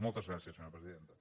moltes gràcies senyora presidenta